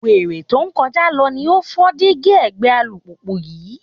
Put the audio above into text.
Wèrè tó ń kọjá lọ ni ó fọ́ díígí ẹ̀gbẹ́ alùpùpù yín